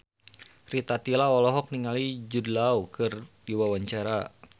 Rita Tila olohok ningali Jude Law keur diwawancara